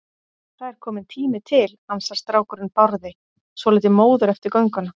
Það er kominn tími til, ansar strákurinn Bárði, svolítið móður eftir gönguna.